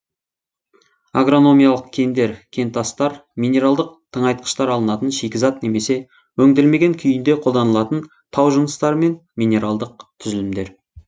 агрономиялық кендер кентастар минералдық тыңайтқыштар алынатын шикізат немесе өңделмеген күйінде қолданылатын тау жыныстары мен минералдық түзілімдер